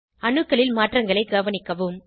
அணுக்களில் மாற்றங்களை கவனிக்கவும்